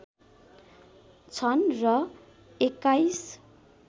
छन् र २१